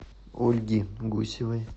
ольги гусевой